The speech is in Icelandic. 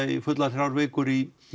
í fullar þrjár vikur í